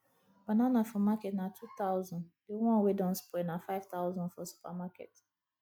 banana for market na 2000 the one wey don spoil na 5000 for supermarket